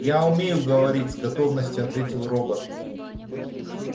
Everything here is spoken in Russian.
я умею говорить с готовностью ответил робот